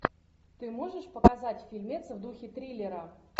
ты можешь показать фильмец в духе триллера